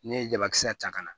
Ne ye jabakisɛ ta ka na